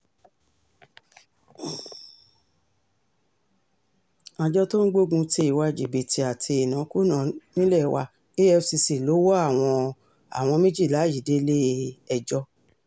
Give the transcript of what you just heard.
àjọ tó ń gbógun ti ìwà jìbìtì àti ìnákúnàá nílé wa efcc ló wọ àwọn àwọn méjìlá yìí délé-ẹjọ́